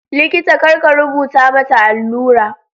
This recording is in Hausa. Likita kar ya rubuta mata allura.